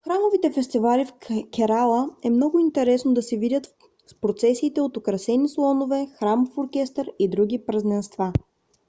храмовите фестивали в керала е много е интересно да се видят с процесиите от украсени слонове храмов оркестър и други празненства